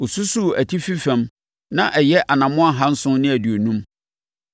Ɔsusuu atifi fam, na ɛyɛ anammɔn ahanson ne aduonum.